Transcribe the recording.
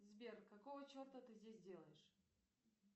сбер какого черта ты здесь делаешь